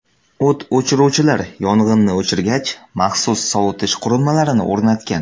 O‘t o‘chiruvchilar yong‘inni o‘chirgach, maxsus sovutish qurilmalarini o‘rnatgan.